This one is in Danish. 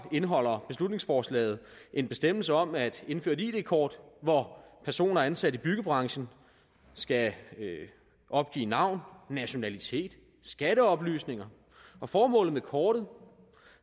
indeholder beslutningsforslaget en bestemmelse om at indføre et id kort hvor personer ansat i byggebranchen skal opgive navn nationalitet skatteoplysninger og formålet med kortet